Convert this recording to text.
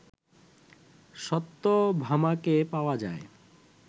সত্যভামাকে পাওয়া যায়